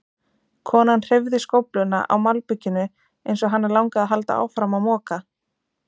Konan hreyfði skófluna á malbikinu eins og hana langaði að halda áfram að moka.